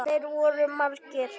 Þeir voru margir.